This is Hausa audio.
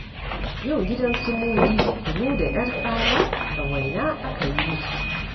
Yau gidan su Mudi kunu da ƴartsala da waina aka yi musu.